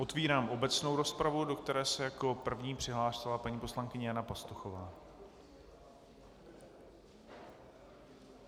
Otevírám obecnou rozpravu, do které se jako první přihlásila paní poslankyně Jana Pastuchová.